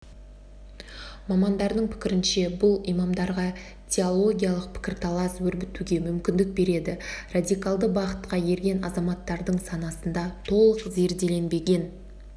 мамандардың пікірінше бұл имамдарға теологиялық пікірталас өрбітуге мүмкіндік береді радикалды бағытқа ерген азаматтардың санасында толық зерделенбеген